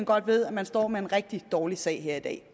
godt ved at man står med en rigtig dårlig sag her i dag